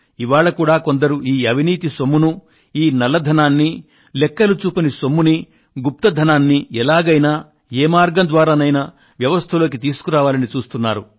ఇవాళ కూడా కొందరు ఈ అవినీతి సొమ్మునూ ఈ నల్లధనాన్నీ లెక్కలు చూపని సొమ్మునీ గుప్త ధనాన్ని ఎలాగైనా ఏ మార్గం ద్వారానైనా వ్యవస్థలోకి తీసుకురావాలని చూస్తున్నారు